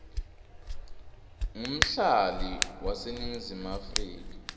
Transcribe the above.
ngumhlali waseningizimu afrika